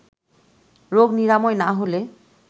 রোগ নিরাময় না হলে